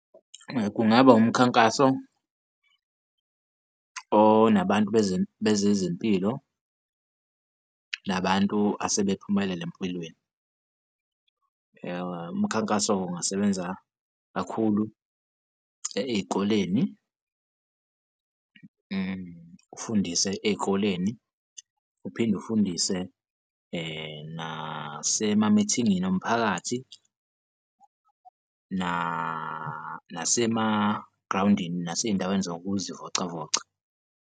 Kungaba umkhankaso onabantu bezezempilo nabantu asebephumelele empilweni. Umkhankaso-ke ungasebenza kakhulu ey'koleni, ufundise ey'koleni uphinde ufundise nasemamithingini omphakathi nasemagrawundini, nasey'ndaweni zokuzivocavoca.